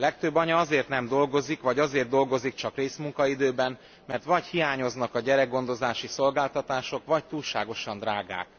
Legtöbb anya azért nem dolgozik, vagy azért dolgozik csak részmunkaidőben, mert vagy hiányoznak a gyerekgondozási szolgáltatások, vagy túlságosan drágák.